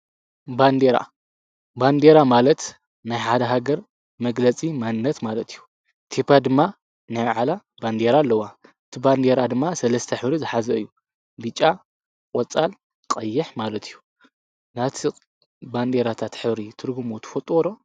ንዴራባንዴራ ማለት ናይ ሓደ ሃገር መግለጺ ማንነት ማለት እዩ ቲጳ ድማ ናይምዓላ ባንዲይራ ኣለዋ ቲባንዴራ ድማ ሠለስተ ሒሪ ዝኃዘ እዩ ቢጫ ቖፃል ቀየሕ ማለት እዩ ናቲ ባንዴራእታ ተኅብሪ ትርግሙ ትፈጥወሮ።